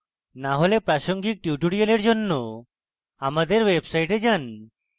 না হলে প্রাসঙ্গিক tutorials জন্য আমাদের website যান